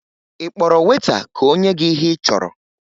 Ị kpọrọ weta ka o nye gị ihe ị chọrọ?